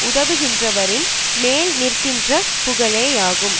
உதவுகின்றவரின் மேல் நிற்கின்ற புகழேயாகும்